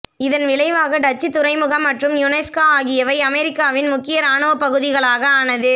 இதன் விளைவாக டச்சு துறைமுகம் மற்றும் யுனெஸ்கா ஆகியவை அமெரிக்காவின் முக்கிய இராணுவ பகுதிகளாக ஆனது